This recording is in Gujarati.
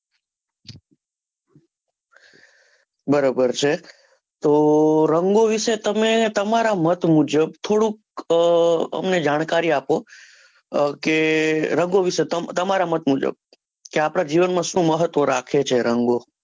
બરાબર છે તો રંગો વિશે તમે તમારા મત મુજબ થોડુંક અમને જાણકારી આપો, કે રંગો વિશે તમારા મત મુજબ કે આપણા જીવન માં સુ મહત્વ રાખે છે રંગો,